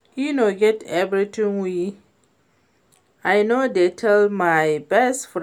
E no get anything wey I no dey tell my best friend